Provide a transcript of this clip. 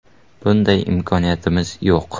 Bunday imkoniyatimiz yo‘q”.